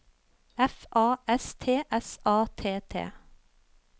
F A S T S A T T